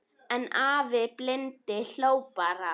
En afi blindi hló bara.